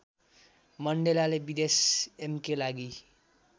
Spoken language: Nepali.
मण्डेलाले विदेश एमके लागि